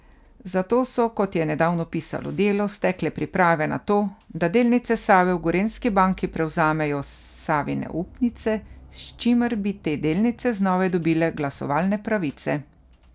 Zato so, kot je nedavno pisalo Delo, stekle priprave na to, da delnice Save v Gorenjski banki prevzamejo Savine upnice, s čimer bi te delnice znova dobile glasovalne pravice.